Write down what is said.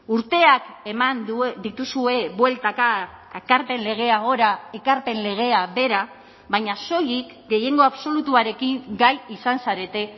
urteak eman dituzue bueltaka ekarpen legea gora ekarpen legea behera baina soilik gehiengo absolutuarekin gai izan zarete